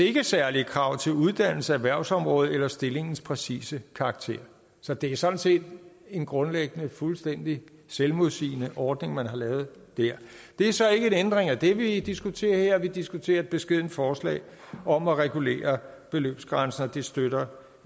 særlige krav til uddannelse erhvervsområde eller stillingens præcise karakter så det er sådan set grundlæggende en fuldstændig selvmodsigende ordning man har lavet der det er så ikke en ændring af den vi diskuterer her vi diskuterer et beskedent forslag om at regulere beløbsgrænser og det støtter